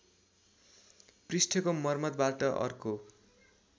पृष्ठको मर्मतबाट अर्को